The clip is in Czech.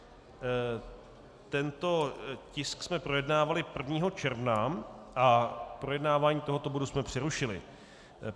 Tento tisk jsme projednávali 1. června a projednávání tohoto bodu jsme přerušili.